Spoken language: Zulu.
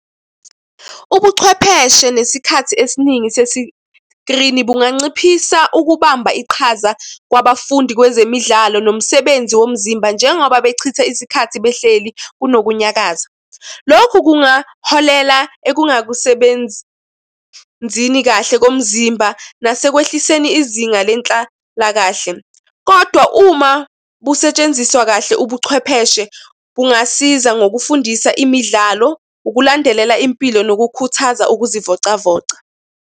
Ubuchwepheshe nesikhathi esiningi sesikrini bunganciphisa ukubamba iqhaza kwabafundi kwezemidlalo nomsebenzi womzimba njengoba bechitha isikhathi behleli kunokunyakaza. Lokhu kungaholela ekungakusebenzini kahle komzimba nasekwehliseni izinga lenhlalakahle. Kodwa uma busetshenziswa kahle ubuchwepheshe bungasiza ngokufundisa imidlalo, ukulandelela impilo nokukhuthaza ukuzivocavoca.